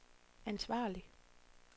ansvarlig